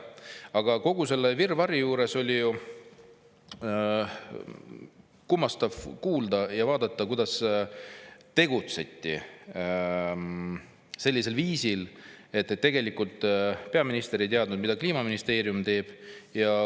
Aga kogu selle virvarri juures oli kummastav kuulda ja vaadata, et tegutseti sellisel viisil, et tegelikult peaminister ei teadnud, mida Kliimaministeerium teeb.